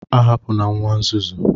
A hapụna nwa nzuzu